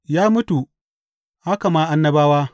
Ya mutu, haka ma annabawa.